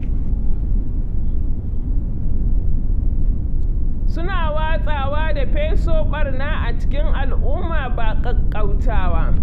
Suna watsawa da feso ɓarna a cikin al'umma ba ƙaƙƙautawa.